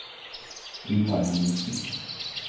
Yngvar Henriksen